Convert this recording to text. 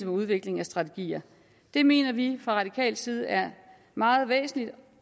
udvikling af strategier det mener vi fra radikal side er meget væsentligt